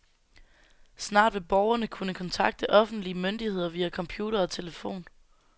Snart vil borgerne kunne kontakte offentlige myndigheder via computer og telefon.